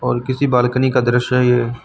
और किसी बालकनी का दृश्य है ये।